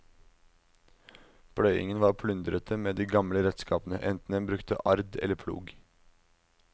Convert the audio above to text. Pløyingen var plundrete med de gamle redskapene, enten en brukte ard eller plog.